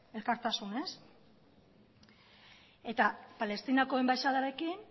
elkartasunez eta palestinako enbaxadarekin